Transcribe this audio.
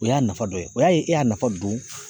O y'a nafa dɔ ye o y'a ye e y'a nafa don